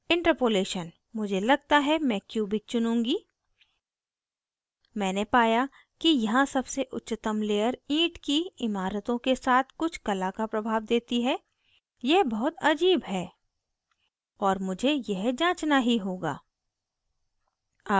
interpolation मुझे लगता है मैं cubic चुनूँगी मैंने पाया कि यहाँ सबसे उच्चतम layer ईंट की इमारतों के साथ कुछ कला का प्रभाव देती है यह बहुत अजीब है और मुझे यह जाँचना ही होगा